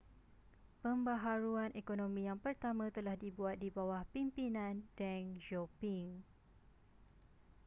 pembaharuan ekonomi yang pertama telah dibuat di bawah pimpinan deng xiaoping